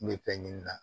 N bɛ fɛn ɲini na